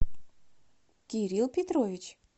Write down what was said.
кирилл петрович